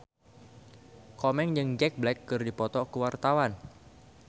Komeng jeung Jack Black keur dipoto ku wartawan